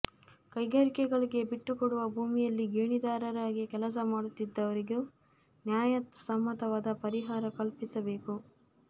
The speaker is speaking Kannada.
ಕೈಗಾರಿಕೆಗಳಿಗೆ ಬಿಟ್ಟುಕೊಡುವ ಭೂಮಿಯಲ್ಲಿ ಗೇಣಿದಾರರಾಗಿ ಕೆಲಸ ಮಾಡುತ್ತಿದ್ದವರಿಗೂ ನ್ಯಾಯ ಸಮ್ಮತವಾದ ಪರಿಹಾರ ಕಲ್ಪಿಸಬೇಕು